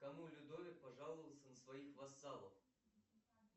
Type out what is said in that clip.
кому людовик пожаловался на своих вассалов